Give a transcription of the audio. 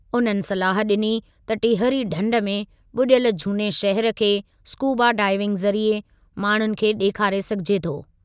उन्हनि सलाह ॾिनी त टिहरी ढंढ में ॿुॾियल झूने शहिर खे स्कूबा डाइविंग ज़रिए माण्हुनि खे ॾेखारे सघिजे थो।